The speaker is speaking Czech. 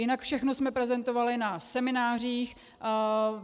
Jinak všechno jsme prezentovali na seminářích.